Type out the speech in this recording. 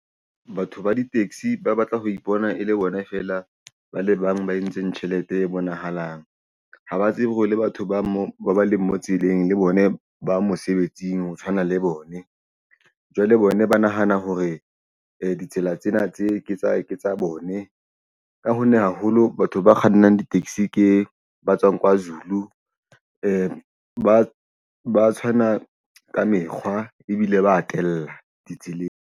Batho ba di-taxi ba batla ho ipona e le bona feela ba le bang ba entseng tjhelete e bonahalang ha ba tsebe hore le batho ba mo ba leng mo tseleng le bone ba mosebetsing ho tshwana le bone jwale bona ba nahana hore ditsela tsena tse ke tsa ke tsa bone. Ka honna haholo batho ba kgannang di-taxi ke ba tswang Kwazulu ba tshwana ka mekgwa ebile ba atela ditseleng.